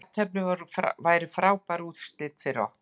Jafntefli væri frábær úrslit fyrir okkur